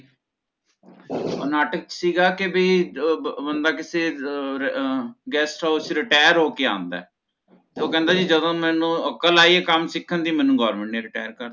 ਓਹ ਨਾਟਕ ਚ ਸੀਗਾ ਕਿ ਬਈ ਬਣ ਬੰਦਾ ਕਿਥੇ ਅਹ ਅਹ Guest house ਚੋਂ retire ਹੋਕੇ ਆਂਦਾ ਹੈ ਓਹ ਕਹਿੰਦਾ ਜਦੋਂ ਮੇਨੂ ਅਕਲ਼ ਆਈ ਹੈ ਕਮ ਸਿਖਨ ਦੀ ਓਹਦੋਂ ਮੇਨੂ Government ਨੇ Retire ਕਰਤਾ